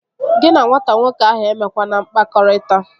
Gị na nwata nwoke ahụ emekwana mkpakọrịta!